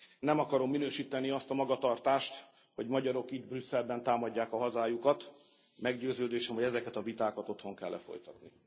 Nem akarom minősíteni azt a magatartást, hogy magyarok itt Brüsszelben támadják a hazájukat, meggyőződésem, hogy ezeket a vitákat otthon kell lefolytatni.